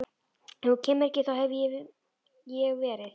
Ef þú kemur ekki þá hef ég verið